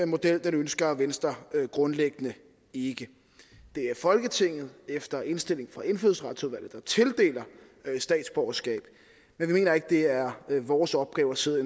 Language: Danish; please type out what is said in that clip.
model ønsker venstre grundlæggende ikke det er folketinget efter indstilling fra indfødsretsudvalget der tildeler statsborgerskab men vi mener ikke det er vores opgave at sidde og